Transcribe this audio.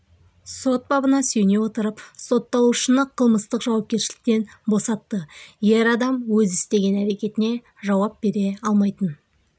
сот бабына сүйене отырып сотталушыны қылмыстық жауапкершіліктен босатты ер адам өз істеген әрекетіне жауап бере алмайтын